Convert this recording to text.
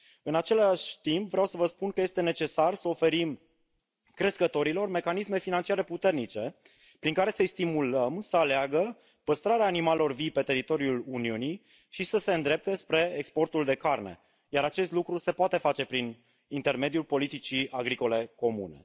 În același timp, vreau să vă spun că este necesar să oferim crescătorilor mecanisme financiare puternice prin care să îi stimulăm să aleagă păstrarea animalelor vii pe teritoriul Uniunii și să se îndrepte spre exportul de carne, iar acest lucru se poate face prin intermediul politicii agricole comune.